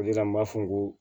O de la n b'a fɔ n ko